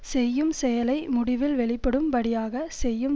செய்யும் செயலை முடிவில் வெளிப்படும் படியாக செய்யும்